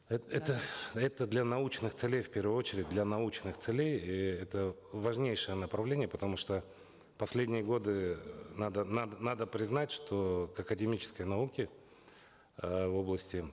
это это для научных целей в первую очередь для научных целей и это важнейшее направление потому что в последние годы надо надо признать что к академической науке э в области